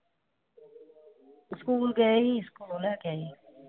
School ਗਏ ਸੀ। School ਲੈ ਕੇ ਆਈ ਹਾਂ।